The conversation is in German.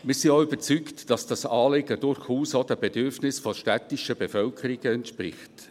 Wir sind auch überzeugt, dass diese Anliegen durchaus auch den Bedürfnissen der städtischen Bevölkerungen entspricht.